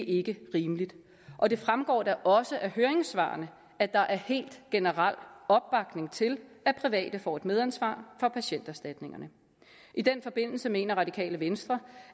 ikke rimeligt og det fremgår da også af høringssvarene at der er helt generel opbakning til at private får et medansvar for patienterstatningerne i den forbindelse mener radikale venstre